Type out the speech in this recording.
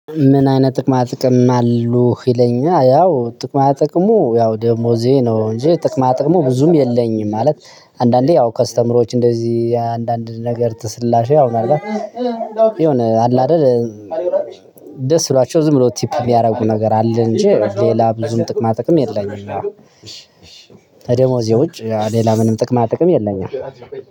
ምን አይነት ጥቅማ ጥቅም አሉህ? ይለኛል ያው ጥቅማ ጥቅሙ ያው ደሞዜ ነው እንጂ ጥቅማ ጥቅሙ ብዙም የለኝም። ማለት አንዳንዴ ያው ከስተመሮች እንደዚህ አንዳንድ ነገር ተስላሽ ያውም አልባ የሆነ አለ አይደል ደስ ብሏቸው ዝም ብሎ ቲፕ የሚያደርጉ ነገር አለ እንጂ ሌላ ብዙም ጥቅማ ጥቅም የለኝም። ከደሞዜ ውጭ ከሌላ ምንም ጥቅማ ጥቅም የለኝም።